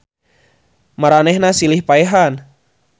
Maranehanana silih paehan.